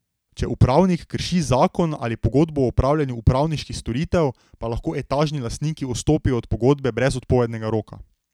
Če upravnik krši zakon ali pogodbo o opravljanju upravniških storitev, pa lahko etažni lastniki odstopijo od pogodbe brez odpovednega roka.